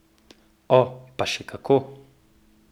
O, pa še kako!